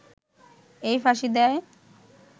এই ফাঁসি দেয়